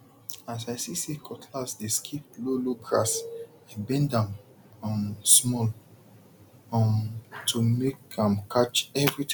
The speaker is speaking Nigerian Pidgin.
as i see say cutlass dey skip lowlow grass i bend am um small um to make am catch everything